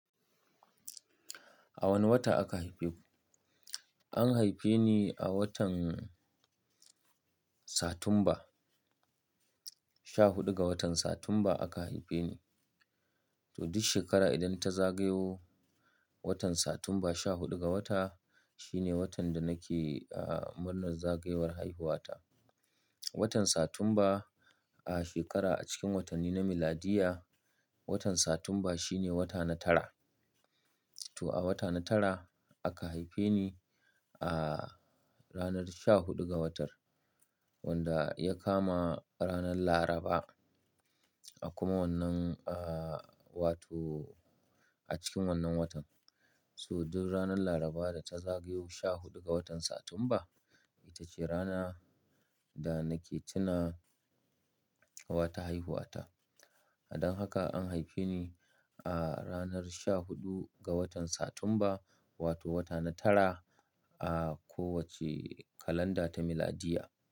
A wane wata aka haife ku? An haife ni a watan Satumba, sha huɗu ga watan Satumba aka haife ni. To duk shekara idan ta zagayo watan Satumba sha huɗu ga wata, shine watan da nake,, murnar zagayowar haihuwa ta. Watan Satumba a shekara a cikin watanni na miladiyya, watan Satumba shine wata na tara. To a wata na tara aka haife ni a ranar sha huɗu ga watar, wanda ya kama ranar Laraba a kuma wannan, uh, wato a cikin wannan watan. So duk ranar Laraba da ta zagayo sha huɗu ga watan Satumba, ita ce rana da nake tuna wata haihuwa ta. Don haka an haife ni a ranar sha huɗu ga watan Satumba, wato wata na tara a kowace kalanda ta miladiyya.